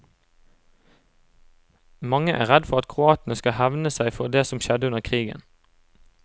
Mange er redd for at kroatene skal hevne seg for det som skjedde under krigen.